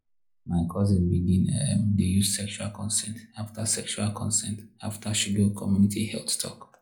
my cousin begin um dey use sexual consent after sexual consent after she go community health talk.